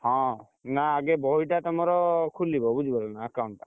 ହଁ, ନା ଆଗେ ବହିଟା ତମର ଖୁଲିବା ବୁଝିପାଇଲ ନା account ଟା,